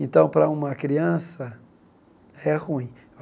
Então, para uma criança, é ruim.